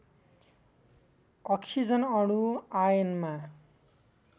oxygen अणु आयनमा